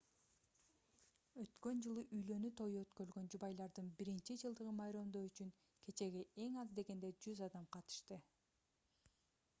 өткөн жылы үйлөнүү тою өткөрүлгөн жубайлардын биринчи жылдыгын майрамдоо үчүн кечеге эң аз дегенде 100 адам катышты